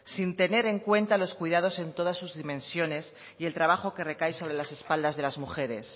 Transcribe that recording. sin tener en cuenta los cuidados en todas sus dimensiones y el trabajo que recae sobre las espaldas de las mujeres